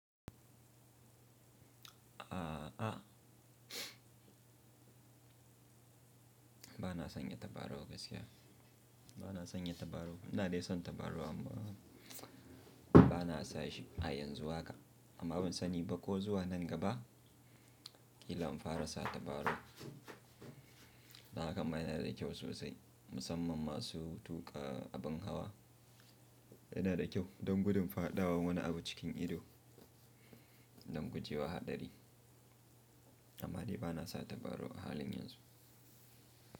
A'a bana sanya tabarau gaskiya. Bana sanya tabarau. Ina dai son tabarau amma bana sa shi a yanzu haka. Amma ban sani ba ko zuwa nan gaba kila in fara sa tabarau. Da kama yana da kyau sosai musamman masu tuƙa abin hawa. Yana da kyau don gudun fadawan wani abu cikin ido don guje wa haɗari. Amma dai bana sa tabarau a halin yanzu.